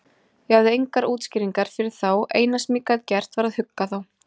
Ég hafði engar útskýringar fyrir þá, eina sem ég gat gert var að hugga þá.